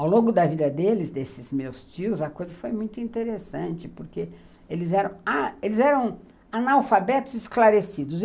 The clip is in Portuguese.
Ao longo da vida deles, desses meus tios, a coisa foi muito interessante, porque eles eram eles eram analfabetos esclarecidos.